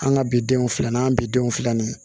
An ka bidenw filanan an bidenw filanan